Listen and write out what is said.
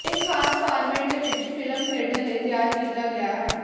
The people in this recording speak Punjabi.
ਇਹ ਖਾਸ ਫਾਰਮੈਟ ਵਿੱਚ ਫਿਲਮ ਖੇਡਣ ਲਈ ਤਿਆਰ ਕੀਤਾ ਗਿਆ ਹੈ